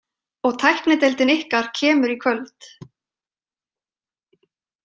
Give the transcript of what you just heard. Og tæknideildin ykkar kemur í kvöld.